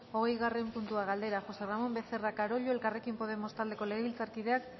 hogeigarren puntua galdera josé ramón becerra carollo elkarrekin podemos taldeko legebiltzarkideak